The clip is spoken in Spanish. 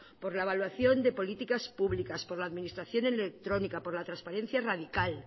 por la evaluación de políticas públicas por la administración electrónica por la transparencia radical